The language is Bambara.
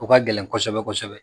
O ka gɛlɛn kosɛbɛ kosɛbɛ